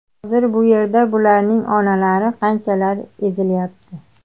Hozir bu yerda bularning onalari qanchalar ezilyapti.